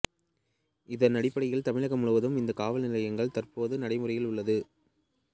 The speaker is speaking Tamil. இதனடிப்படையில் தமிழகம் முழுவதும் இந்த காவல் நிலையங்கள் தற்போது நடைமுறையில் உள்ளது